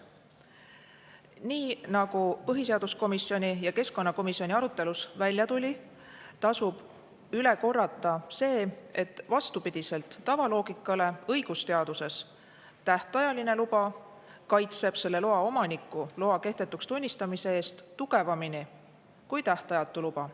Nii nagu põhiseaduskomisjoni ja keskkonnakomisjoni arutelus välja tuli, tasub üle korrata see, et vastupidiselt tavaloogikale kaitseb õigusteaduses tähtajaline luba selle loa omanikku loa kehtetuks tunnistamise eest tugevamini kui tähtajatu luba.